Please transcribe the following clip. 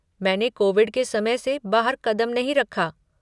मैंने कोविड के समय से बाहर कदम नहीं रखा।